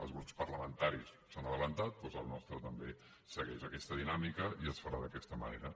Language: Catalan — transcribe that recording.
els grups parlamentaris s’han avançat doncs el nostre també segueix aquesta dinàmica i es farà d’aquesta manera